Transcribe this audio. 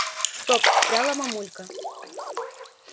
стоп встряла мамулька